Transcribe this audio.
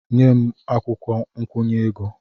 Nye m akwụkwọ nkwụnye ego!